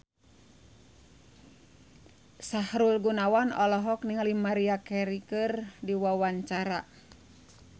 Sahrul Gunawan olohok ningali Maria Carey keur diwawancara